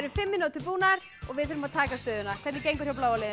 fimm mínútur búnar og við þurfum að taka stöðuna hvernig gengur hjá bláa liðinu